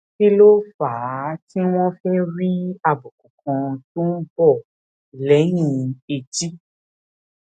kí ló fà á tí wón fi ń rí àbùkù kan tó ń bò léyìn etí